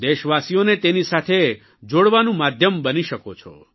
દેશવાસીઓને તેની સાથે જોડવાનું માધ્યમ બની શકો છો